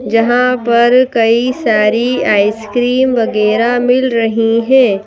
जहां पर कई सारी आइसक्रीम वगैरह मिल रही हैं।